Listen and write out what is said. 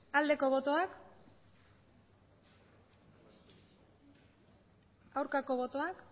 aldeko botoak aurkako botoak